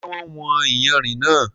Ṣé wọ́n wọn yànrin náà?